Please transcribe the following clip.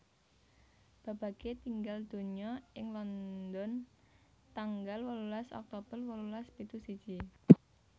Babbage tinggal donya ing London tanggal wolulas Oktober wolulas pitu siji